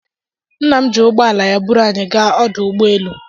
Nna m ji ụgbọ ala ya buru anyị gaa ọdụ ụgbọ elu